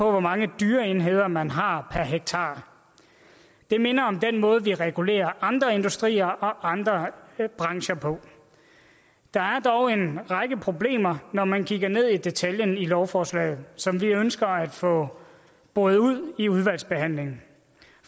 hvor mange dyreenheder man har per hektar det minder om den måde vi regulerer andre industrier og andre brancher på der er dog en række problemer når man kigger ned i detaljerne i lovforslaget som vi ønsker at få boret ud i udvalgsbehandlingen